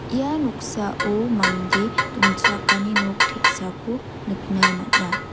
ia noksao mande dongchakani nok te·sako nikna man·a.